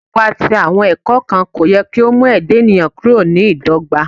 Iwa ti awọn ẹkọ kan ko yẹ ki o mu ẹda eniyan kuro ni idogba